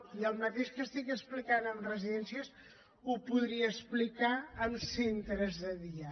i el mateix que estic explicant de residències ho podria explicar de centres de dia